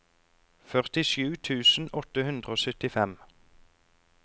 førtisju tusen åtte hundre og syttifem